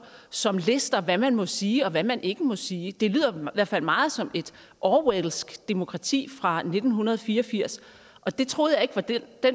som lister hvad man må sige og hvad man ikke må sige det lyder i hvert fald meget som et orwellsk demokrati fra nitten fire og firs og det troede jeg ikke var den